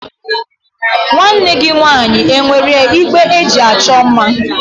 Nwanne gị nwaanyị e nwere igbe eji achọ mma?